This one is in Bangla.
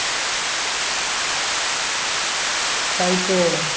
তাই তো